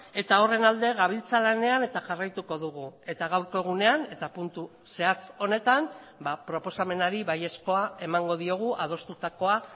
eta horren alde gabiltza lanean eta jarraituko dugu eta gaurko egunean eta puntu zehatz honetan proposamenari baiezkoa emango diogu adostutakoa